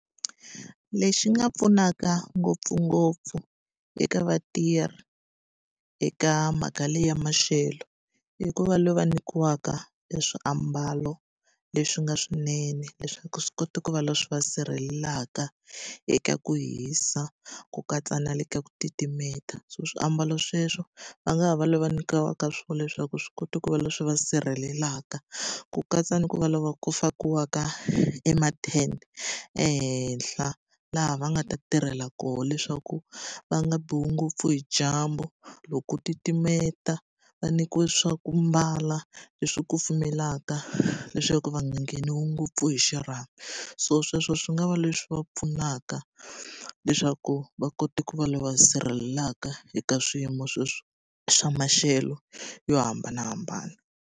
Lexi nga pfunaka ngopfungopfu eka vatirhi eka mhaka leya maxelo, i ku va va nyikiwaka e swiambalo leswi nga swinene leswaku swi kota ku va leswi va sirhelelaka eka ku hisa ku katsa na le ka ku titimela. So swiambalo sweswo va nga ha va lava nyikiwaka swona leswaku swi kota ku va leswi va sirhelelaka, ku katsa ni ku va lava ku fakiwaka emathende ehenhla. Laha va nga ta tirhela koho leswaku va nga biwi ngopfu hi dyambu, loko titimela va nyikiwa swa ku mbala leswi kufumelaka leswaku va nga ngheniwi ngopfu hi xirhami. So sweswo swi nga va leswi va pfunaka leswaku va kota ku va lava sirhelelaka eka swiyimo sweswo swa maxelo yo hambanahambana.